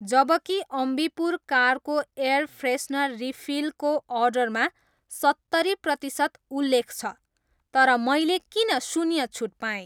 जबकि अम्बीपुर कारको air freshener refill को अर्डरमा सत्तरी प्रतिसत उल्लेख छ, तर मैले किन शून्य छुट पाएँ